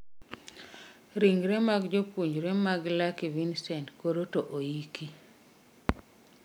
Ringre mag jopuonjre mag Lucky Vincent koro to oiki